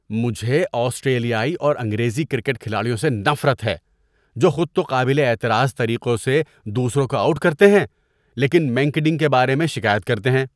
مجھے آسٹریلیائی اور انگریزی کرکٹ کھلاڑیوں سے نفرت ہے جو خود تو قابلِ اعتراض طریقوں سے دوسروں کو آؤٹ کرتے ہیں لیکن منکیڈنگ کے بارے میں شکایت کرتے ہیں۔